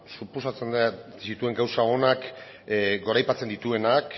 suposatzen dut zituen gauza onak goraipatzen dituenak